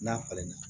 N'a falenna